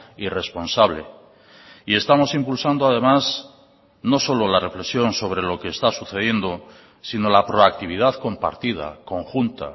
y responsable y estamos impulsando además no solo la reflexión sobre lo que está sucediendo si no la proactividad compartida conjunta